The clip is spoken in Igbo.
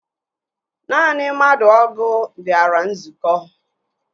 Naanị mmadụ ọgụ bịara nzukọ